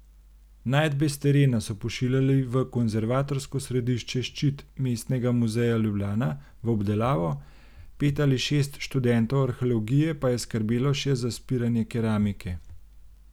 Najdbe s terena so pošiljali v konservatorsko središče Ščit Mestnega muzeja Ljubljana v obdelavo, pet ali šest študentov arheologije pa je skrbelo še za spiranje keramike.